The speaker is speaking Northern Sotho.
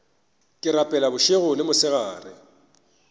ke rapela bošego le mosegare